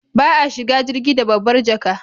Ba a shiga jirgi da babbar jaka